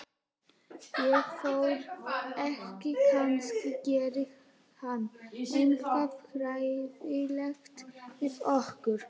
Ég þori ekki, kannski gerir hann eitthvað hræðilegt við okkur.